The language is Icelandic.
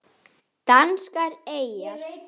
Danskar eyjar